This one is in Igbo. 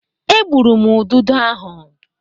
E gbụrụ m ududo ahụ.